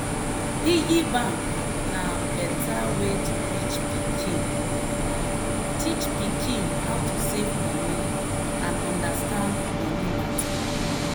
piggy bank na better way to teach pikin teach pikin how to save money and understand money matter.